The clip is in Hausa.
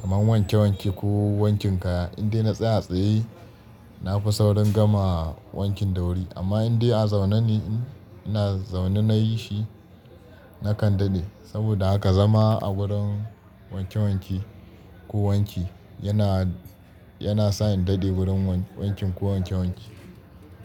Kaman wanke wanke ko wankin kaya. In dai na tsaya tsaye, na fi saurin gama wankin da wuri. Amma in dai a zaune ne ina, zaune nayi shi, nakan daɗe. Saboda haka zama a wurin wanke wanke ko wanki yana, yana sa in daɗe wurin wankin ko wanke wanke.